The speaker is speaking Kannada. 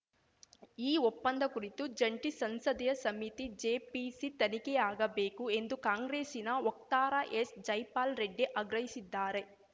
ಈ ಒಪ್ಪಂದ ಕುರಿತು ಜಂಟಿ ಸಂಸದೀಯ ಸಮಿತಿ ಜೆಪಿಸಿ ತನಿಖೆಯಾಗಬೇಕು ಎಂದು ಕಾಂಗ್ರೆಸ್ಸಿನ ವಕ್ತಾರ ಎಸ್‌ ಜೈಪಾಲ ರೆಡ್ಡಿ ಆಗ್ರಹಿಸಿದ್ದಾರೆ